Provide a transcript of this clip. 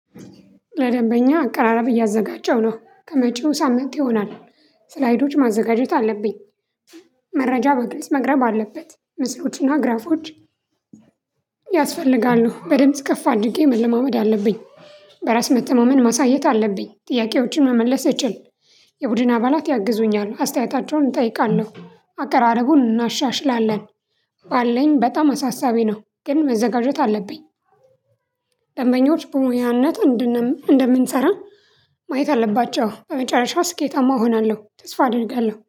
ለደንበኛ አቀራረብ እያዘጋጀሁ ነው ከመጪው ሳምት ይሆናል ስላይዶች ማዘጋጀት አለብኝ። መረጃ በግልጽ መቅረብ አለበት ምስሎችና ግራፎች። ያስፈልጋሉ በድምጽ ከፍ አድርጌ መለማመድ አለብኝ። በራስ መተማመን ማሳየት አለብኝ ጥያቄዎችን መመለስ እችል። የቡድን አባላት ያግዙኛል አስተያየታቸውን እጠይቃለሁ አቀራረቡን እናሻሽላለን። ባለኝ በጣም አሳሳቢ ነው ግን መዘጋጀት አለብኝ። ደንበኞች በሙያነት እንደምንሰራ ማየት አለባቸው። በመጨረሻ ስኬታማ እሆናለሁ ተስፋ አደርጋለሁ